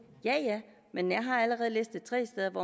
ja men jeg har allerede listet tre steder hvor